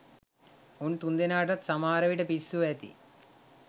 උන් තුන්දෙනාටත් සමහරවිට පිස්සු ඇති.